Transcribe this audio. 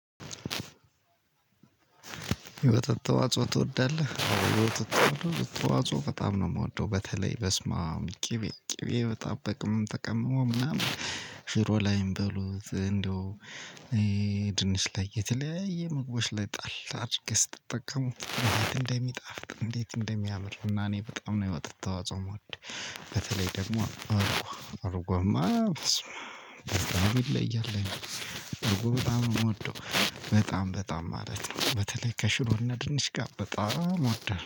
የወተት ተዋጽኦ ትወዳለህ? የወተት ተዋጽኦ በጣም ነው የምወደው በተለይ በስማም ቅቤ ቅቤ በጣም ተቀምሞ ምናምን ሽሮ ላይም በሉት እንደው። ድንች ላይ የተለያየ ምግቦች ላይ ጣል አድርገህ ስትጠቀሙት እንደት እንደሚጣፍጥ እንዴት እንደሚያምር እና እኔ በጣም ነው የወተት ተዋጽኦ የምወድ። በተለይ ደግሞ እርጎ እርጎማ በስመዓብ በጣም ይለያል። እርጎ በጣም ነው የምወደው በጣም በጣም ማለት ነው በተለይ ደግሞ ከሽሮና ድንች ጋር።